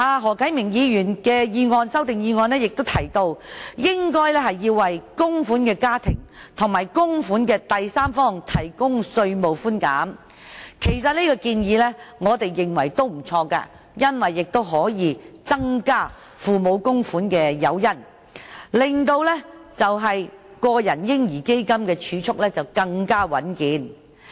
何啟明議員的修正案提出應該為供款家庭和供款的第三方提供稅務寬減，我們認為這建議也不錯，因為可以增加父母供款的誘因，令個人"嬰兒基金"的儲蓄更為穩健。